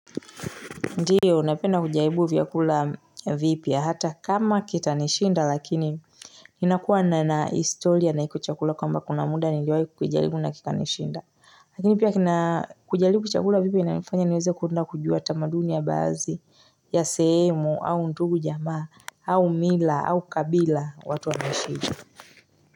Ndiyo napenda kujaribu vyakula vipya hata kama kitanishinda lakini Ninakuwa na na histolia na iko chakula kwamba kuna muda niliwai kujaribu na kikanishinda Lakini pia kina kujaribu chakula vipya inafanya niweze kurudi na kujua tamaduni ya baadhi ya sehemu au ndugu jamaa au mila au kabila watu wanaishije.